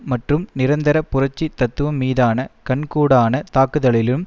மற்றும் நிரந்தர புரட்சி தத்துவம் மீதான கண்கூடான தாக்குதல்களிலும்